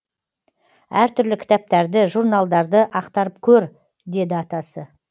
әр түрлі кітаптарды журналдарды ақтарып көр деді атасы